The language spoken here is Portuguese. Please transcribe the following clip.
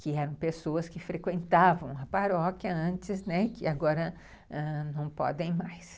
que eram pessoas que frequentavam a paróquia antes, né, que agora não podem mais.